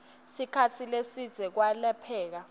sikhatsi lesidze kwelapheka